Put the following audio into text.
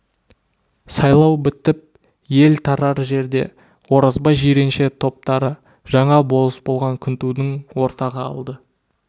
сайлау бітіп ел тарар жерде оразбай жиренше топтары жаңа болыс болған күнтуды ортаға алды